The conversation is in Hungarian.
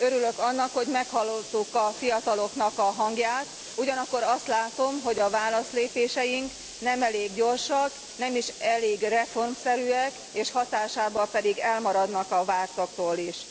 Örülök annak, hogy meghallottuk a fiatalok hangját, ugyanakkor azt látom, hogy válaszlépéseink nem elég gyorsak, nem is elég reformszerűek, és hatásukban pedig elmaradnak a vártaktól is.